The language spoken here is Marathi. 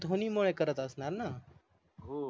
धोनी मुळे करत असणार न